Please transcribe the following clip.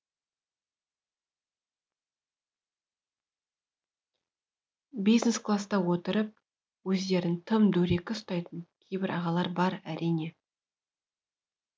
бизнес класта отырып өздерін тым дөрекі ұстайтын кейбір ағалар бар әрине